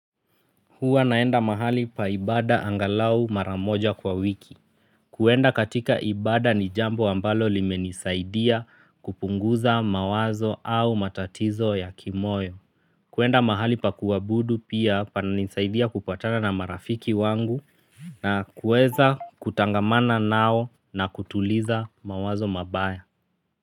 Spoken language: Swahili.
Huwa naenda mahali pa ibada angalau mara moja kwa wiki. Kuenda katika ibada ni jambo ambalo limenisaidia kupunguza mawazo au matatizo ya kimoyo. Kuenda mahali pa kuabudu pia pananisaidia kupatana na marafiki wangu na kueza kutangamana nao na kutuliza mawazo mabaya.